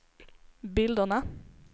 bilderna